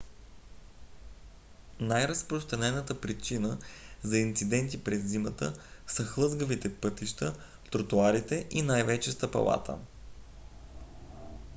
най-разпространената причина за инциденти през зимата са хлъзгавите пътища тротоарите и най-вече стъпалата